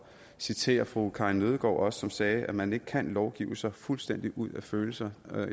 citere fru karin nødgaard som sagde at man ikke kan lovgive sig fuldstændig ud af følelser